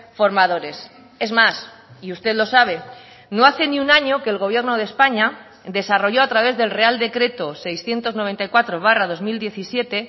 formadores es más y usted lo sabe no hace ni un año que el gobierno de españa desarrolló a través del real decreto seiscientos noventa y cuatro barra dos mil diecisiete